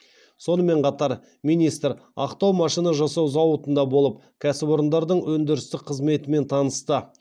сонымен қатар министр ақтау машина жасау зауытында болып кәсіпорындардың өндірістік қызметімен танысты